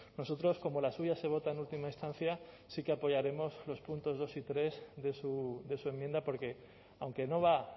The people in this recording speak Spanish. nosotros como la suya se vota en última instancia sí que apoyaremos los puntos dos y tres de su enmienda porque aunque no va